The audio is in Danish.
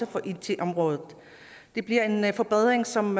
på it området det bliver en en forbedring som